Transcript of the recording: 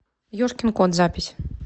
ежкин кот запись